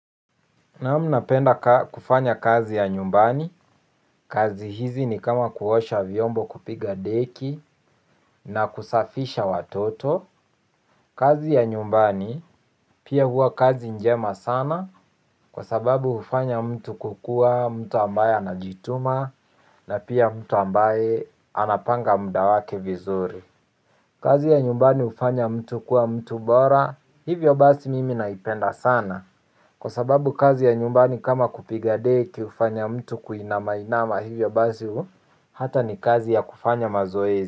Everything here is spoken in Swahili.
Naam napenda kufanya kazi ya nyumbani. Kazi hizi ni kama kuosha vyombo kupiga deki na kusafisha watoto. Kazi ya nyumbani pia hua kazi njema sana. Kwa sababu hufanya mtu kukua mtu ambaye anajituma na pia mtu ambaye anapanga mudawake vizuri. Kazi ya nyumbani hufanya mtu kuwa mtu bora. Hivyo basi mimi naipenda sana. Kwa sababu kazi ya nyumbani kama kupigadeki hufanya mtu kuinama inama hivyo basi huu hata ni kazi ya kufanya mazoezi.